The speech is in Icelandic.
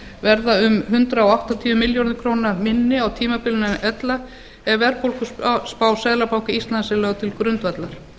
verða hundrað áttatíu milljörðum króna minni á tímabilinu en ella ef verðbólguspá seðlabanka íslands er lögð til grundvallar